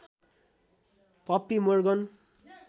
puppy Morgan